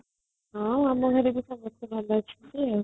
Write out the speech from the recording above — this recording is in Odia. ହଁ ସମସ୍ତେ ଭଲ ଅଛନ୍ତି